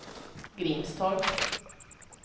Grimstorp